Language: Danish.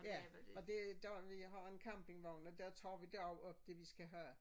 Ja og det der vi har en campingvogn og der tager vi derop det vi skal have